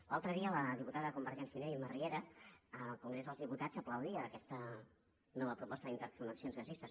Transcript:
l’altre dia la diputada de convergència i unió imma riera en el congrés dels diputats aplaudia aquesta nova proposta d’interconnexions gasistes